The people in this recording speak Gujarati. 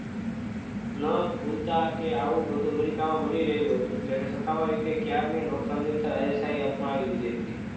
ન બોલતા કે આવું બધું અમેરિકામાં બની ગયું હતું અને સત્તાવાર રીતે ISI અપમાન આવી લીધી હતી